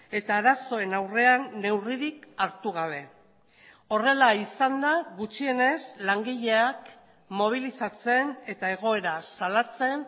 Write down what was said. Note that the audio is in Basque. eta arazoen aurrean neurririk hartu gabe horrela izan da gutxienez langileak mobilizatzen eta egoera salatzen